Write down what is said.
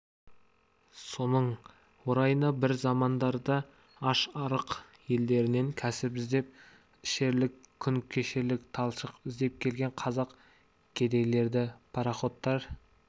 соның орайына бір замандарда аш-арық елдерінен кәсіп іздеп ішерлік күн кешерлік талшық іздеп келген қазақ кедейлері пароходтар